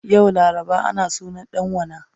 Yau laraba ana sunan dan wana